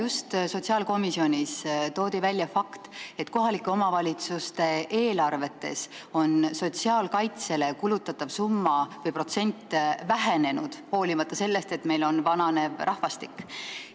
Eile toodi sotsiaalkomisjonis välja fakt, et kohalike omavalitsuste eelarvetes on sotsiaalkaitsele kulutatav summa või protsent vähenenud, hoolimata sellest, et meil on vananev rahvastik.